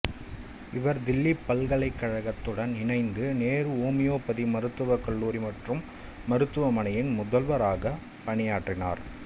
இவர் தில்லி பல்கலைக்கழகத்துடன் இணைந்த நேரு ஓமியோபதி மருத்துவக் கல்லூரி மற்றும் மருத்துவமனையின் முதல்வராகப் பணியாற்றினார்